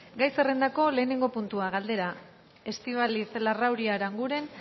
gai zerrendako lehenengo puntua galdera estíbaliz larrauri aranguren